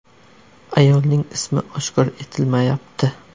Ayolning ismi oshkor etilmayapti.